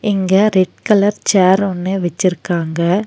இங்க red colour chair ஒன்னு வெச்சிருக்காங்க.